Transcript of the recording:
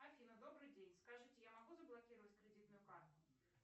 афина добрый день скажите я могу заблокировать кредитную карту